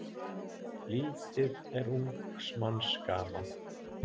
Lítið er ungs manns gaman.